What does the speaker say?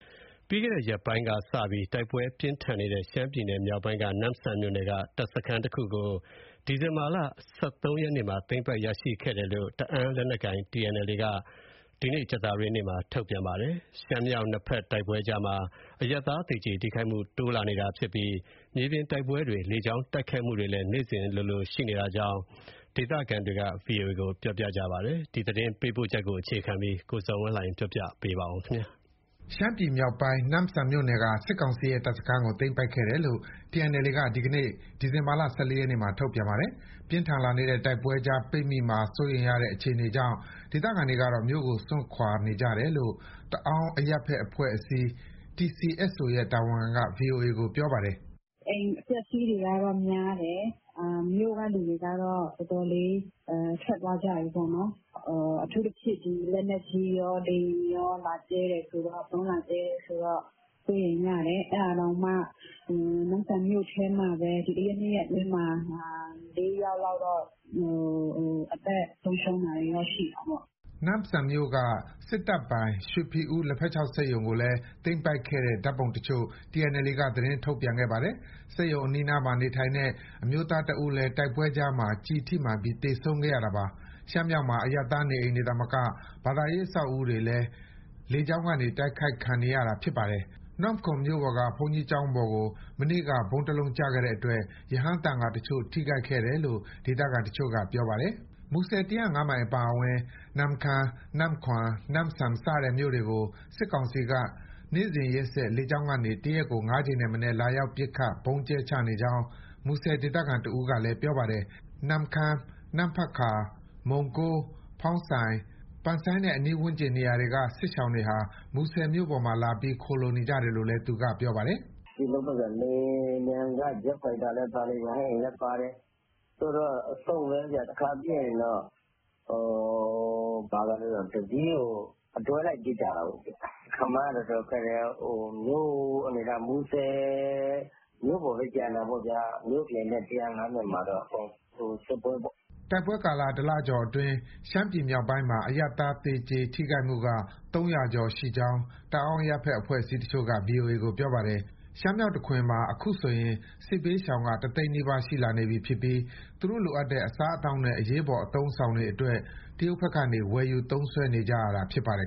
ပြီးခဲ့တဲ့ရက်ပိုင်းကစပြီး တိုက်ပွဲပြင်းထန်နေတဲ့ ရှမ်းပြည်နယ်မြောက်ပိုင်းက နမ့်ဆန်မြို့နယ်က တပ်စခန်းတခုကို ဒီဇင်ဘာလ ၁၃ရက်မှာ သိမ်းပိုက်ရရှိခဲ့တယ်လို့ တအောင်းလက်နက်ကိုင် TNLA က ဒီနေ့ ကြာသပတေးနေ့မှာ ထုတ်ပြန်ပါတယ်။ ရှမ်းမြောက် နှစ်ဘက်တိုက်ပွဲကြားမှာ အရပ်သား သေကြေထိခိုက်မှု တိုးလာနေတာ ဖြစ်ပြီး မြေပြင်တိုက်ပွဲတွေ၊ လေကြောင်း တိုက်ခိုက်မှုတွေကလည်း နေ့စဉ်လိုလို ရှိနေကြောင်း ဒေသခံတွေက ဗွီအိုအေကို ပြောပါတယ်။ ဒီသတင်းပေးပို့ချက်ကို ကိုဇော်ဝင်းလှိုင်က တင်ဆက်ပေးမှာပါ။ ရှမ်းပြည်နယ်မြောက်ပိုင်းက နမ့်ဆန်မြို့နယ်က စစ်ကောင်စီရဲ့ တပ်စခန်းတခုကို သိမ်းပိုက်ခဲ့တယ်လို့ TNLA က ဒီနေ့ ဒီဇင်ဘာလ ၁၄ရက်မှာ ထုတ်ပြန်ပါတယ်။ ပြင်းထန်လာနေတဲ့ တိုက်ပွဲကြား ပိတ်မိမှာ စိုးရိမ်ရတဲ့ အခြေအနေကြောင့် ဒေသခံတွေကတော့ မြို့ကိုစွန့်ခွာနေကြတယ်လို့ တအောင်းအရပ်ဘက်အဖွဲ့အစည်း TCSO ရဲ့ တာဝန်ခံက ဗွီအိုအေကို ပြောပါတယ်။ "အိမ်အပျက်အစီးတွေကတော့ များတယ်၊ မြို့က သူတွေကတော့ တော်တော်လေး ထွက်သွားကြတယ်ပေါ့နော်။ အထူးသဖြင့် လက်နက်ကြီးရော လေယာဉ်ရော ဗုံးလာကြဲတယ်ဆိုတော့ စိုးရိမ်ကြတယ်။ အဲဒါတောင်မှ နမ့်ဆန်မြို့ထဲမှာပဲ ဒီတရက်နှစ်ရက်အတွင်းမှာ လေးယောက်လောက်တော့ အသက်ဆုံးရှုံးတာရှိတယ်။" နမ့်ဆန်မြို့က စစ်တပ်ပိုင် ရွှေဖီဦး လက်ဖက်ခြောက်စက်ရုံကိုလည်း သိမ်းပိုက်ခဲ့တဲ့ ဓာတ်ပုံတချို့ကို TNLA က သတင်းထုတ်ပြန် ခဲ့ပါတယ်။ စက်ရုံအနီးနား မှာနေထိုင်တဲ့ အမျိုးသားတဦးလည်း တိုက်ပွဲကြားမှာ ကျည်ထိမှန်ပြီး သေဆုံးခဲ့ရတာပါ။ ရှမ်းမြောက်မှာ အရပ်သား နေအိမ်တွေ သာမက ဘာသာရေး အဆောက်အဦး တွေလည်း လေကြောင်းကနေ တိုက်ခိုက်တာ ခံနေရ ပါတယ်။ နမ့်ခွမ်မြို့ပေါ်က ဘုန်းကြီးကျောင်းပေါ်ကို မနေ့က ဗုံးတလုံးကျခဲ့တဲ့အတွက် ရဟန်းသံဃာတချို့ ထိခိုက်ခဲ့တယ်လို့ ဒေသခံတချို့က ပြောပါတယ်။ မူဆယ် ၁၀၅မိုင်အပါအဝင်၊ နမ့်ခမ်း၊ နမ့်ခွမ်၊ နမ့်ဆန် စတဲ့မြို့နယ်တွေကို စစ်ကောင်စီက နေ့စဉ်ရက်ဆက် လေကြောင်းကနေ တရက်ကို ငါးကြိမ်ထက်မနည်း လာရောက်ပစ်ခတ်၊ ဗုံးကြဲချနေကြောင်း မူဆယ်ဒေသခံ တဦးက ပြောပါတယ်။ နမ့်ခမ်း၊ နမ့်ဖတ်ကာ၊ မုံကိုး၊ ဖောင်းဆိုင်၊ ပန်ဆိုင်းနဲ့ ဝန်းကျင်နေရာတွေက စစ်ရှောင်တွေဟာ မူဆယ်မြို့ပေါ်မှာ လာပြီး ခိုလှုံနေကြတယ်လို့လည်း သူကပြောပါတယ်။ "လေယာဉ်ပျံက ဂျက်ဖိုက်တာလည်းပါတယ် ရဟတ်ယာဉ်လည်းပါတယ် အစုံပဲဗျ၊ တခါပစ်ရင် တစီးကို အတွဲလိုက်ပစ်ကြတာ၊ ခန့်မှန်းရ တော်တော်ခက်တယ်။ မြို့အနေအထား မူဆယ်မြို့ပေါ်ပဲ ကျန်တာပေါ့ မြို့ပြင်နဲ့ ၁၀၅ မိုင်တော့ အကုန်စစ်ပွဲပေါ့။" တိုက်ပွဲကာလ တလကျော်ကာလအတွင်း ရှမ်းပြည်နယ်မြောက်ပိုင်းမှာ အရပ်သား သေကြေ၊ ထိခိုက်မှုက ၃၀၀ ကျော်ရှိကြောင်း တအောင်း အရပ်ဘက်အဖွဲ့အစည်းတချို့က ဗွီအိုအေကို ပြောပါတယ်။ ရှမ်းမြောက်တခွင်မှာ အခုဆို စစ်ဘေးရှောင်က တသိန်းနီးပါး ရှိလာနေပြီဖြစ်ပြီး သူတို့လိုအပ်တဲ့ အစားအသောက်နဲ့ အရေးပေါ် အသုံးအဆောင်တွေအတွက် တရုတ်ဘက်ကနေ ဝယ်ယူသုံးစွဲနေကြရတာ ဖြစ်ပါတယ်